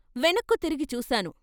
వెనక్కు తిరిగి చూశాను.